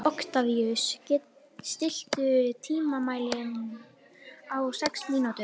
Oktavíus, stilltu tímamælinn á sex mínútur.